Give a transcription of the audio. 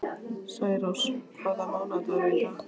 Særós, hvaða mánaðardagur er í dag?